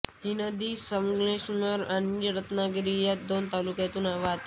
ही नदी संगमेश्वर आणि रत्नागिरी या दोन तालुक्यांतून वाहते